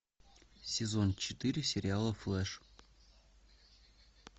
сезон четыре сериала флэш